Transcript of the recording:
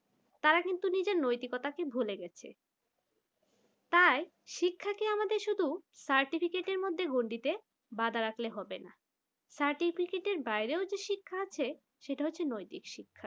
তারা কিন্তু তাদের নৈতিকতাকে ভুলে গেছে তাই শিক্ষাকে আমাদের শুধু certificate মতো গণ্ডিতে বাঁধা রাখলে হবে না certificate বাইরে হচ্ছে শিক্ষা আছে সেটা হচ্ছে নৈতিক শিক্ষা।